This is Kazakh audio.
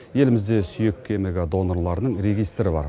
елімізде сүйек кемігі донорларының регистрі бар